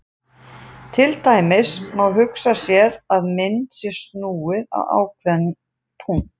Til dæmis má hugsa sér að mynd sé snúið um ákveðinn punkt.